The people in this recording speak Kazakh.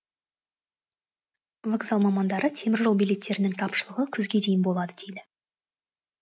вокзал мамандары теміржол билеттерінің тапшылығы күзге дейін болады дейді